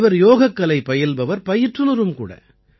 இவர் யோகக்கலை பயில்பவர் பயிற்றுநரும் கூட